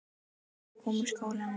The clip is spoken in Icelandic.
Hann var að koma úr skólanum.